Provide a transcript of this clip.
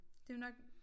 Det jo nok